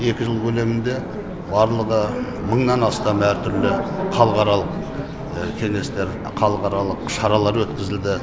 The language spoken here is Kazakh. екі жыл көлемінде барлығы мыңнан астам әр түрлі халықаралық кеңестер халықаралық шаралар өткізілді